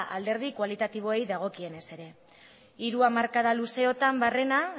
alderdi kualitatiboei dagokienez ere hiru hamarkada luzeotan barrena